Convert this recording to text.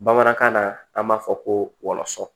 Bamanankan na an b'a fɔ ko wɔlɔsɔ